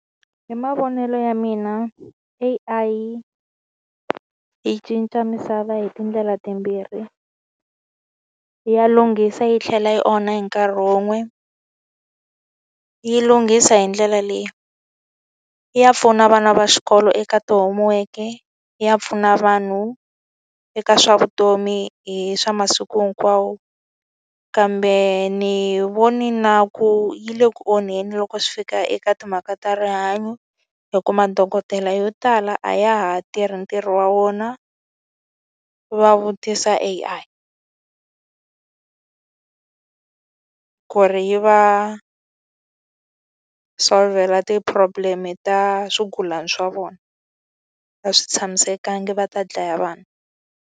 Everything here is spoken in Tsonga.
Hi mavonelo ya mina A_I yi cinca misava hi tindlela timbirhi, ya lunghisa yi tlhela yi onha hi nkarhi wun'we. Yi lunghisa hi ndlela leyi. Ya pfuna vana va xikolo eka ti-homework-e, ya pfuna vanhu eka swa vutomi hi swa masiku hinkwawo. Kambe ni vone na ku yi le ku onheni loko swi fika eka timhaka ta rihanyo. Hikuva madokodela yo tala a ya ha tirhi ntirho wa wona, va vutisa A_I ku ri yi va solvhela ti-problem-e ta swigulana swa vona. A swi tshamisekanga, va ta dlaya vanhu.